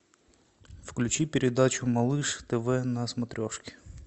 включи передачу малыш тв на смотрешке